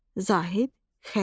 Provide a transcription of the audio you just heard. Zahid, Xəlil.